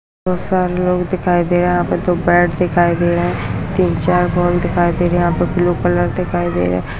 बहुत सारे लोग दिखाई दे रहें हैं यहाँ पर दो बैट दिखाई दे रहें हैं तीन चार बॉल दिखाई दे रही है यहाँ पर ब्लू कलर दिखाई दे रहा है।